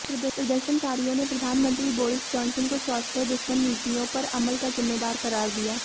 प्रदर्शनकारियों ने प्रधानमंत्री बोरिस जान्सन को स्वास्थ्य दुश्मन नीतियों पर अमल का ज़िम्मेदार क़रार दिया